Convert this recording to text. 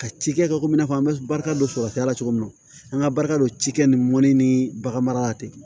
Ka ci kɛ komi i n'a fɔ an bɛ barika dɔ sɔrɔ kɛ ala cogo min na an ka barika dɔ cikɛ ni mɔni ni bagan mara tɛ